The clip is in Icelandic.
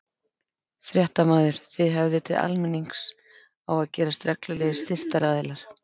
Fréttamaður: Þið höfðið til almennings á að gerast reglulegir styrktaraðilar?